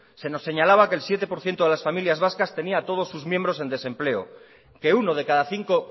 se nos señalaba que el siete por ciento de las familias vascas tenía a todos sus miembros en desempleo que uno de cada cinco